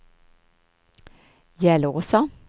Järlåsa